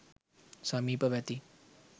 සමීපව ඇති